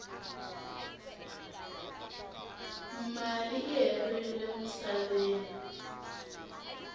mali i herile musaveni